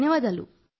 ధన్యవాదాలు